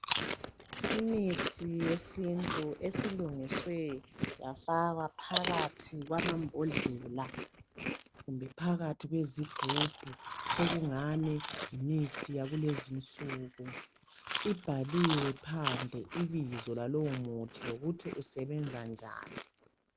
Imithi yesintu esilungiswe yafakwa phakathi kwamambodlela kumbe phakathi kwezigubhu sokungani yimithi yakulezinsuku. Ibhalwe phandle ibizo lalowomuthi lokuthi isebenza njani.